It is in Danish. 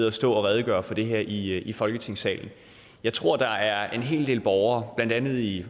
at stå og redegøre for det her i i folketingssalen jeg tror der er en hel del borgere blandt andet i